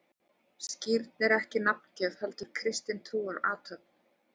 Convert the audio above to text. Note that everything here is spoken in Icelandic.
Skírn er ekki nafngjöf, heldur kristin trúarathöfn.